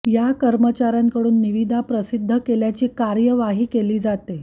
या कर्मचाऱ्यांकडून निविदा प्रसिध्द केल्याची कार्यवाही केली जाते